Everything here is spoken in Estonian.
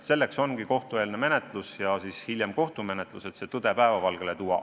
Selleks ongi kohtueelne menetlus ja hiljem kohtumenetlus, et tõde päevavalgele tuua.